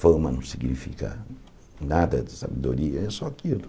Fama não significa nada de sabedoria, é só aquilo.